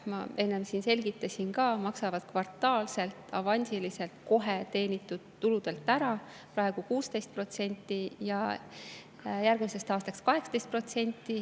Ma enne selgitasin ka, et nad maksavad teenitud tuludelt kvartaalselt, avansiliselt praegu ära 16% ja järgmisest aastast 18%.